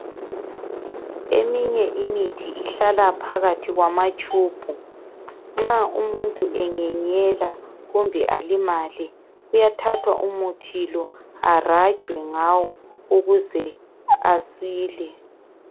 Eminye imithi ihlala phakathi kwamatshubhu. Nxa umuntu enyenyela kumbe alimale, kuyathathwa umuthi lo arajwe ngawo ukuze asile.